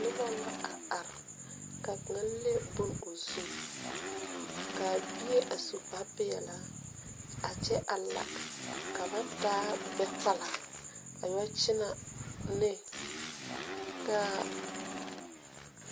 Nuba la a arẽ ka kanga le bun ɔ zu kaa bie a su kpare peɛlaa a kye a la ka ba taa gbe kpala a yɛ kyene ne kaa.